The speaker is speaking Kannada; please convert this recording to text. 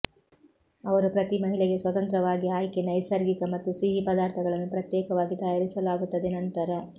ಅವರು ಪ್ರತಿ ಮಹಿಳೆಗೆ ಸ್ವತಂತ್ರವಾಗಿ ಆಯ್ಕೆ ನೈಸರ್ಗಿಕ ಮತ್ತು ಸಿಹಿ ಪದಾರ್ಥಗಳನ್ನು ಪ್ರತ್ಯೇಕವಾಗಿ ತಯಾರಿಸಲಾಗುತ್ತದೆ ನಂತರ